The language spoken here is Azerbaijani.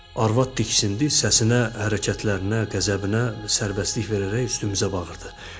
Arvad diksindi, səsinə, hərəkətlərinə, qəzəbinə sərbəstlik verərək üstümüzə bağırdı.